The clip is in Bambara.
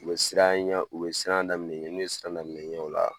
U bɛ siranɲa u bɛ siran damin'i ɲɛ, n'u ye siran daminɛ i ɲɛ o la